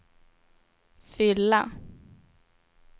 fylla